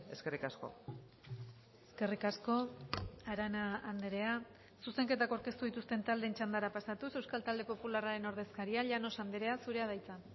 eskerrik asko eskerrik asko arana andrea zuzenketak aurkeztu dituzten taldeen txandara pasatuz euskal talde popularraren ordezkaria llanos andrea zurea da hitza